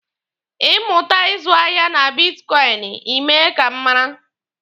Ị mụta ịzụ ahịa na bitkọịnị, Ị mee ka m mara.